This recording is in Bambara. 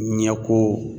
Ɲɛko